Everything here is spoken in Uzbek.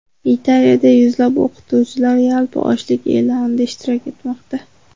Italiyada yuzlab o‘qituvchilar yalpi ochlik e’lonida ishtirok etmoqda.